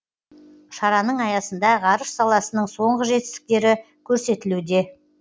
шараның аясында ғарыш саласының соңғы жетістіктері көрсетілуде